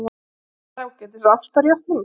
Það er ágætis ástarjátning.